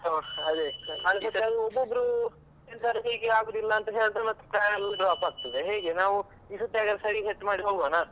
ಎಂತ ಮಾಡುದ್ ಕಳ್ದ್ ಸರ್ತಿ ಒಬ್ಬೊಬ್ರು ಎಂತಾರು ಹೀಗೆ ಆಗುದಿಲ್ಲ ಹೀಗೆ ಹೇಳಿದ್ರೆ ಮತ್ತೆ plan ಎಲ್ಲ PLOP ಆಗ್ತದೆ ಹೀಗೆ ನಾವು ಈ ಸರ್ತಿ ಹಾಗಾದ್ರೆ ಸರಿಕಟ್ಟ್ ಮಾಡಿ ಹೋಗುವನ.